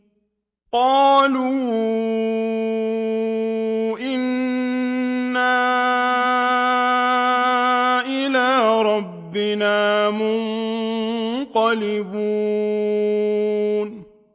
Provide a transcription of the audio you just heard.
قَالُوا إِنَّا إِلَىٰ رَبِّنَا مُنقَلِبُونَ